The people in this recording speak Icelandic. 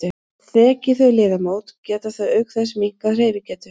Þeki þau liðamót geta þau auk þess minnkað hreyfigetu.